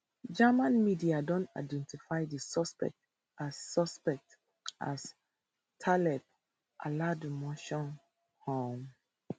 german media don identify di suspect as suspect as taleb alabdulmohsen um